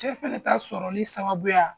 Cɛ fɛnɛ ta sɔrɔli sababuya